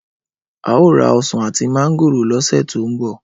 Ao ra osan ati mángòrò lose to nbo.